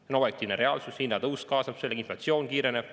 See on objektiivne reaalsus, hinnatõus kaasneb sellega, inflatsioon kiireneb.